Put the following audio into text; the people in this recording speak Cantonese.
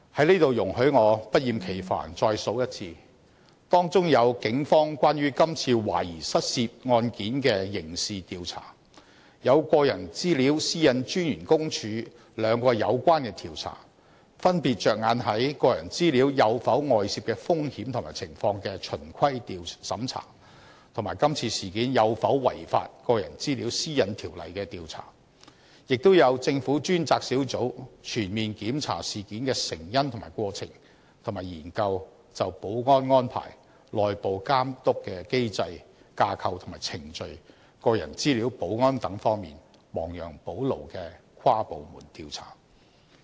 在此容許我不厭其煩再數一次：當中有警方關於今次懷疑失竊案件的刑事調查；有私隱專員公署兩項有關調查，分別着眼於個人資料有否外泄的風險或情況的"循規審查"，以及今次事件有否違反《個人資料條例》的調查；亦有政府專責小組全面檢查事件成因及過程，以及研究就保安安排、內部監督機制、架構及程序、個人資料保安等方面亡羊補牢的跨部門調查。